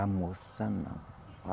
A moça, não.